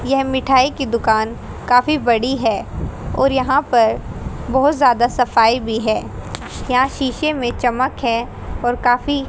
यह मिठाई की दुकान काफी बड़ी है और यहां पर बहुत ज्यादा सफाई भी है यहां शीशे में चमक है और काफी--